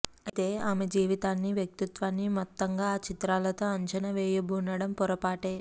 అయితే ఆమె జీవితాన్నీ వ్యక్తిత్వాన్నీ మొత్తంగా ఆ చిత్రాలతో అంచనా వేయబూనడం పొరపాటే